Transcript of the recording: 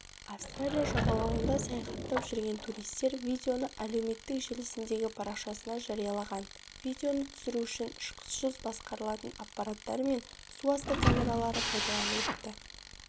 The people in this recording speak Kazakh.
австралия жағалауында саяхаттап жүрген туристер видеоны әлеуметтік желісіндегі парақшасына жариялаған видеоны түсіру үшін ұшқышсыз басқарылатын аппараттар мен суасты камералары пайдаланылыпты